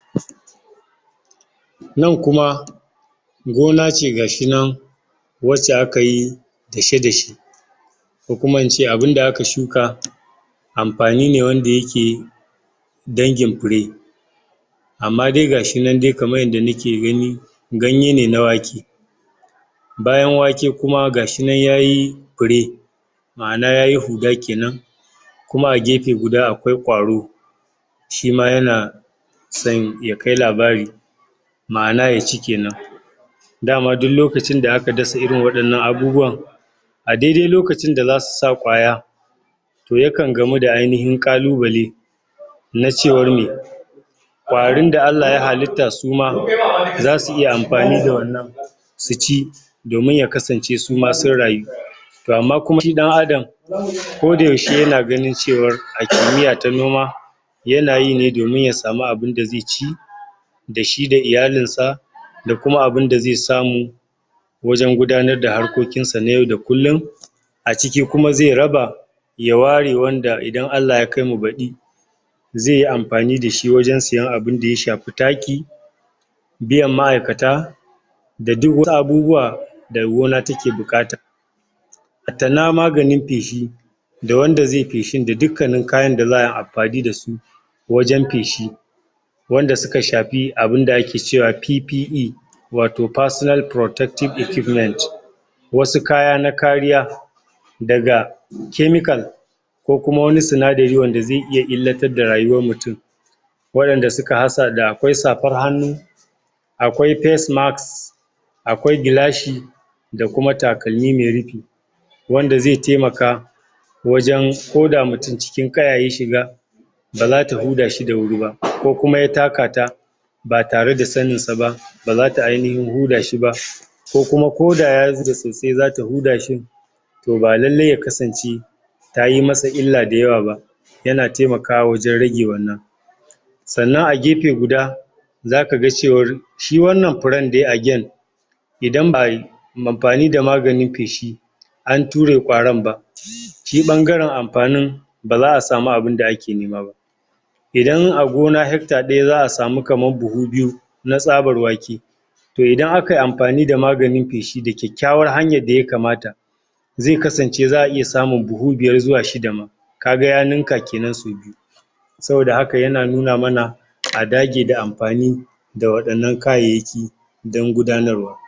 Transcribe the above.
nan kuma gona ce gashinan wacce akayi ko kuma ince abun da aka shuka amfani ne wanda yake dangin fure amma dai gashinan dai kaman yanda muke gani ganye ne na wake bayan wake kuma gashinan ma yayi fure ma'ana yayi huga kenan kuma a gefe guda akwai ƙwaro shima yana son ya kai labari ma'ana ya ci kenan dama duk lokacin da aka dasa irin wadannan abubuwan a dai dai lokacin da zasu sa ƙwaya yakan gamu da ainihin ƙalubale na cewan meh ƙwarin da Allah ya halitta suma zasu iya amfani da wannan su ci domin ya kasance suma sun rayu toh amma kuma shi dan adam ko da yaushe yana ganin cewa a kimiya ta noma yana yi ne domin ya samu abun da zai ci dashi da ilyalin sa da kuma abun da zai samu wajen gudanar da harkokin sa na yau da kullun a ciki kuma zai raba ya ware wanda idan Allah ya kai mu baɗi zaiyi amfani da shi wajen siyan abun daya shafi taki biyan ma'aikata da duk wata abubuwa da gona take bukata hatta na maganin peshi da wanda zaiyi peshin da dukkanin kayan da za'ayi amfani da shi wajen peshi wanda suka shafi abunda ake cewa PPE wato personal protective equipments wasu kaya na kariya daga chemical ko kuma wani sinadari wanda zai iya illatar da rayuwan mutum wadanda suka hasa da ko safar hannu akwai face mask akwai gilashi da kuma takalmi mai rufe wand zai taimaka wajen koda mutum cikin kaya ya shiga baza ta huda shi da wuri ba ko kuma ya takata ba tare da sanin sa ba 2baza ta ainihin huda shi ba ko kuma ya soasai zata huda shi toh ba lallai ya kasance tayi masa illa da yawa ba yana taimaka wajen rage wannan sannan a gefe guda zaka ga cewar shi wannan furen da ya idan ba'ayi amfani da maganin peshi an ture ƙwarin ba um shi bangaren amfanin baza'a samu abun da ake nema ba idan a gona hectre daya za'a samu buhu biyu na sabar wake toh idan akayi amfani da maganin peshi da ƙyakyawan hanyan da ya kamata zai kasance za'a iya samun buhu biyar zuwa shida ma ka biya hannunka kenan sau biyu saboda haka yana nuna mana a dage da amfani da wadannan kayayyaki dan gudanar wa